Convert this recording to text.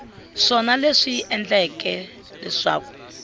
swona leswi swi endleke leswaku